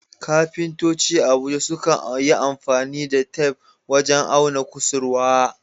Kafintoci a Abuja sukan yi amfani da tef wajen auna kusurwa.